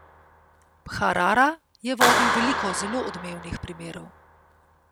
Bharara je vodil veliko zelo odmevnih primerov.